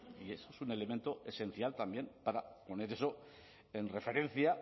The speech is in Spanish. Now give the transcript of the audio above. y es un elemento esencial también para poner eso en referencia